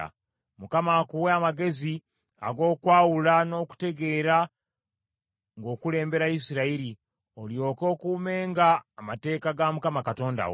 Mukama akuwe amagezi ag’okwawula n’okutegeera ng’okulembera Isirayiri, olyoke okuumenga amateeka ga Mukama Katonda wo.